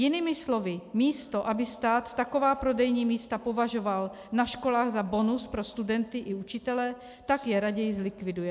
Jinými slovy, místo aby stát taková prodejní místa považoval na školách za bonus pro studenty i učitele, tak je raději zlikviduje.